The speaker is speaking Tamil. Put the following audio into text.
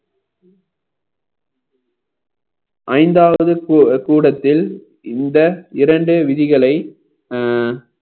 ஐந்தாவது கூட~ கூடத்தில் இந்த இரண்டு விதிகளை அஹ்